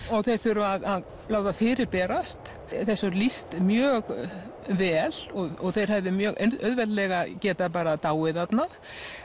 og þeir þurfa að láta fyrirberast þessu er lýst mjög vel og þeir hefðu mjög auðveldlega getað bara dáið þarna